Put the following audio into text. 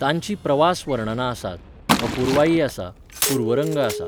तांचीं प्रवास वर्णनां आसात, अपुर्वाई आसा, पूर्वरंग आसा.